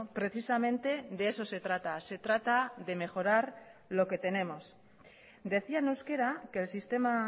precisamente de eso se trata se trata de mejorar lo que tenemos decía en euskera que el sistema